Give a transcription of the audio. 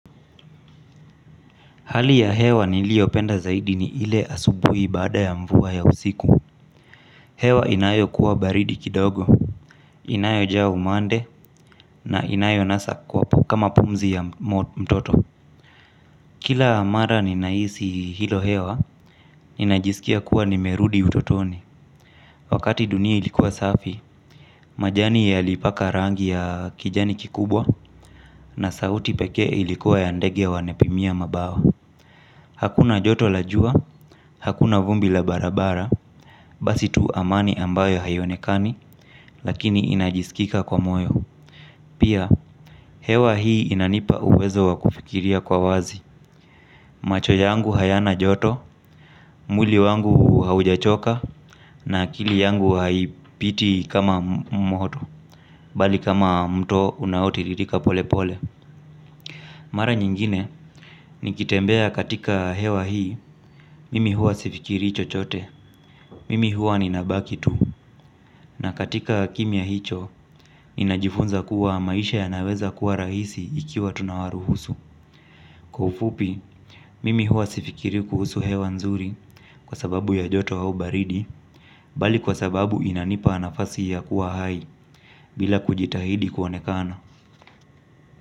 Hali ya hewa niliyo penda zaidi ni ile asubuhi baada ya mvua ya usiku. Hewa inayo kuwa baridi kidogo, inayo jaa umande na inayonasa kwa kama pumzi ya mtoto. Kila mara ninahisi hilo hewa, ninajisikia kuwa nimerudi utotoni. Wakati dunia ilikuwa safi, majani ya yalipaka rangi ya kijani kikubwa na sauti pekee ilikuwa ya ndege wanepimia mabawa. Hakuna joto la jua, hakuna vumbi la barabara, basi tu amani ambayo haionekani, lakini inajisikika kwa moyo. Pia, hewa hii inanipa uwezo wa kufikiria kwa wazi. Macho yangu hayana joto, mwili wangu haujachoka, na akili yangu haipiti kama moto, bali kama mto unaotiririka pole pole. Mara nyingine nikitembea katika hewa hii, mimi huwa sifikirii chochote, mimi huwa ninabaki tu, na katika kimya hicho, inajifunza kuwa maisha yanaweza kuwa rahisi ikiwa tunawaruhusu. Kwa ufupi, mimi huwa sifikiri kuhusu hewa nzuri kwa sababu ya joto au baridi, bali kwa sababu inanipa nafasi ya kuwa hai bila kujitahidi kuonekana.